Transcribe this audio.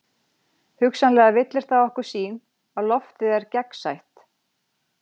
Hugsanlega villir það okkur sýn að loftið er gegnsætt.